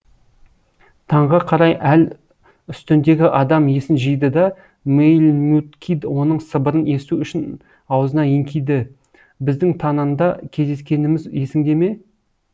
таңға қарай әл үстіндегі адам есін жиды да мэйлмют кид оның сыбырын есту үшін аузына еңкиді біздің тананда кездескеніміз есіңде ме